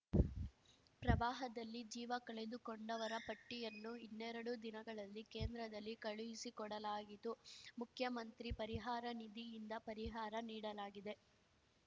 ಪ್ರವಾಹದಲ್ಲಿ ಜೀವ ಕಳೆದುಕೊಂಡವರ ಪಟ್ಟಿಯನ್ನು ಇನ್ನೆರಡು ದಿನಗಳಲ್ಲಿ ಕೇಂದ್ರದಲ್ಲಿ ಕಳುಹಿಸಿಕೊಡಲಾಗಿತು ಮುಖ್ಯಮಂತ್ರಿ ಪರಿಹಾರ ನಿಧಿಯಿಂದ ಪರಿಹಾರ ನೀಡಲಾಗಿದೆ